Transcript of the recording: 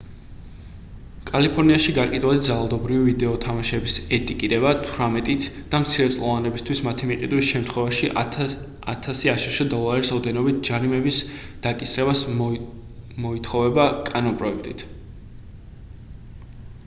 კალიფორნიაში გაყიდვადი ძალადობრივი ვიდეო თამაშების ეტიკეტირება 18 -ით და მცირეწლოვანებისთვის მათი მიყიდვის შემთხვევაში 1000 აშშ დოლარის ოდენობით ჯარიმის დაკისრება მოითხოვება კანონპროექტით